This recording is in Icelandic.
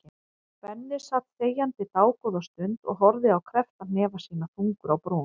Benni sat þegjandi dágóða stund og horfði á kreppta hnefa sína, þungur á brún.